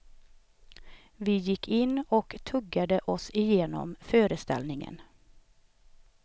Vi gick in och tuggade oss igenom föreställningen.